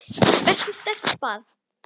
Vertu sterk- bað